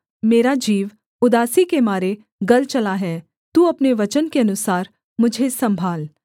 मेरा जीव उदासी के मारे गल चला है तू अपने वचन के अनुसार मुझे सम्भाल